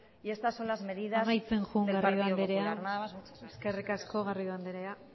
y estas son las medidas amaitzen joan garrido andrea nada más y muchas gracias eskerrik asko garrido andrea